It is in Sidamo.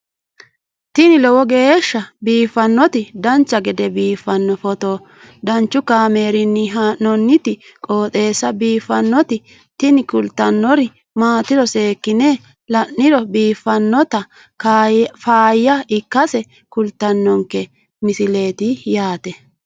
tini lowo geeshsha biiffannoti dancha gede biiffanno footo danchu kaameerinni haa'noonniti qooxeessa biiffannoti tini kultannori maatiro seekkine la'niro biiffannota faayya ikkase kultannoke misileeti yaate